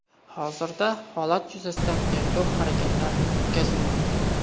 Hozirda holat yuzasidan tergov harakatlari o‘tkazilmoqda.